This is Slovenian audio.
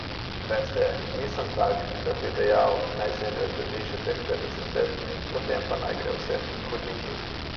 Veste, nisem tak, da bi dejal, naj Zemlja zdrži še teh petdeset let, potem pa naj gre vse k hudiču.